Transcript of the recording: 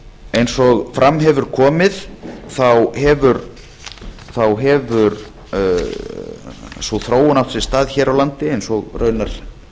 eins og fram hefur komið hefur sú þróun átt sér stað hér á landi eins og raunar